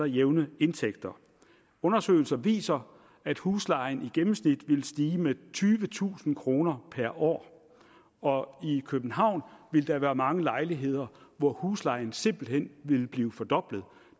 jævne indtægter undersøgelser viser at huslejen i gennemsnit ville stige med tyvetusind kroner per år og i københavn ville der være mange lejligheder hvor huslejen simpelt hen ville blive fordoblet